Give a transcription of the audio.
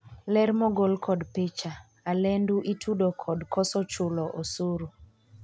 ler mogol kod picha, Alendu itudo kod koso chulo osuru